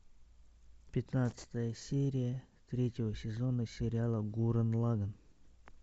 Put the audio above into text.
пятнадцатая серия третьего сезона сериала гуррен лаганн